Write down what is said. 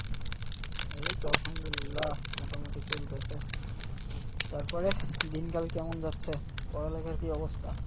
এইতো আলহামদুল্লিহ মোটামুটি চলতেছে তারপরে দিনকাল কেমন যাচ্ছে? পড়ালেখার কি অবস্থা?